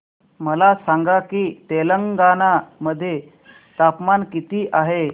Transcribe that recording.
मला सांगा की तेलंगाणा मध्ये तापमान किती आहे